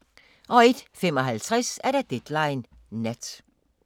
01:55: Deadline Nat